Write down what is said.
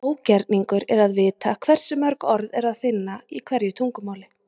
Ógerningur er að vita hversu mörg orð er að finna í hverju tungumáli.